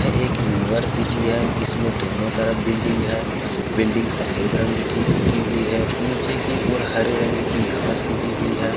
एक यूनिवर्सिटी हैं। इसमें दोनों तरफ बिल्डिंग हैं। बिल्डिंग सफेद रंग कि पुती हुई हैं। नीचे कि ओर हरे रंग कि घास उगी हुई हैं।